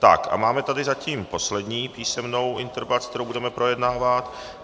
Tak a máme tady zatím poslední písemnou interpelaci, kterou budeme projednávat.